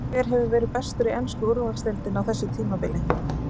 Hver hefur verið bestur í ensku úrvalsdeildinni á þessu tímabili?